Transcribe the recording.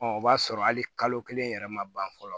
o b'a sɔrɔ hali kalo kelen yɛrɛ ma ban fɔlɔ